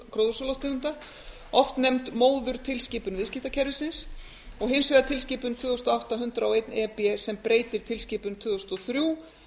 til losunar gróðurhúsalofttegunda oft nefnd móðurtilskipun viðskiptakerfisins og hins vegar tilskipun tvö þúsund og átta hundrað og eitt e b sem breytir tilskipun tvö þúsund og þrjú